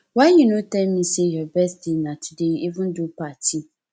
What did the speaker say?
why you no tell me say your birthday na today you even do party